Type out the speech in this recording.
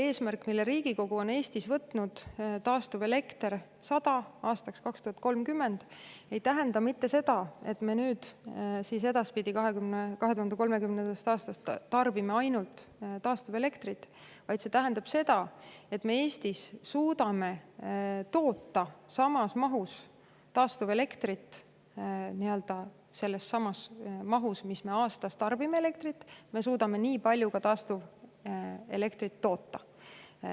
Eesmärk, mille Riigikogu on Eestis võtnud – taastuvelektrit aastaks 2030 –, ei tähenda mitte seda, et me alates 2030. aastast tarbime edaspidi ainult taastuvelektrit, vaid see tähendab seda, et me suudame Eestis toota samas mahus taastuvelektrit, kui me aastas tarbime elektrit.